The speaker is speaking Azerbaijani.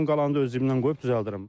Dedim qalanını öz cibimdən qoyub düzəldirəm.